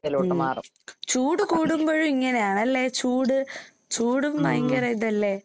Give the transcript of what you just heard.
ഉം. ചൂട് കൂടുമ്പഴും ഇങ്ങനെയാണല്ലേ, ചൂട് ചൂടും ഭയങ്കരയിതല്ലേ.